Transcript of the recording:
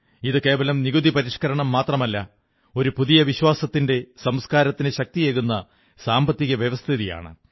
ഇത് കേവലം നികുതി പരിഷ്കരണം മാത്രമല്ല ഒരു പുതിയ വിശ്വാസത്തിന്റെ സംസ്കാരത്തിന് ശക്തിയേകുന്ന സാമ്പത്തിക വ്യവസ്ഥിതിയാണ്